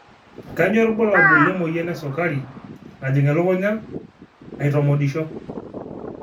kanyio ibulabul lemoyian esukari najing elukunya aitomodisho